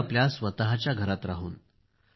तोही आपल्या स्वतःच्या घरात राहून